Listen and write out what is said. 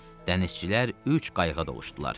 Dənizçilər üç qayığa doluşdular.